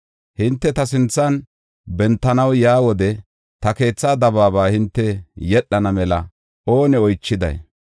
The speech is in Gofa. Hinte ta sinthan bentanaw yaa wode ta keethaa dabaaba hinte yedhana mela oone oychiday?